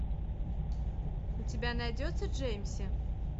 у тебя найдется джеймси